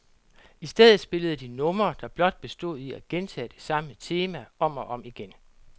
I stedet spillede de numre, der blot bestod i at gentage det samme tema om og om igen.